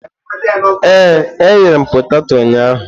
Ee, eghere m peteto ụnyahụ.